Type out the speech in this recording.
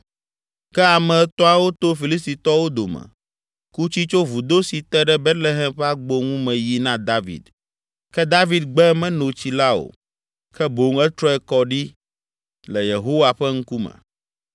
Ke ame etɔ̃awo to Filistitɔwo dome, ku tsi tso vudo si te ɖe Betlehem ƒe agbo ŋu me yi na David. Ke David gbe meno tsi la o, ke boŋ etrɔe kɔ ɖi le Yehowa ƒe ŋkume.